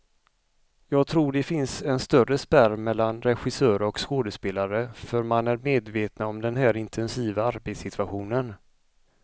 Jag tror det finns en större spärr mellan regissörer och skådespelare, för man är medvetna om den här intensiva arbetssituationen.